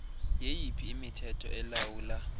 yeyiphi imithetho elawula